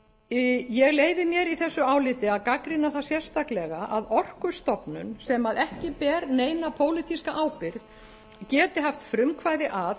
iðnaðarráðuneytið ég leyfi mér í þessu áliti að gagnrýna það sérstaklega að orkustofnun sem ekki ber neina pólitíska ábyrgð geti haft frumkvæði að